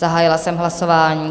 Zahájila jsem hlasování.